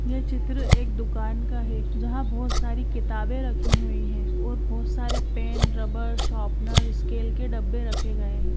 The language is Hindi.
ये चित्र एक दुकान है जहाँ बहोत सारी किताबें रखी हुई है और बहोत सरे पेन रवर शॉपनर स्केल के डब्बे रखे गए है।